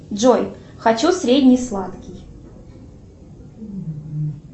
джой хочу средний сладкий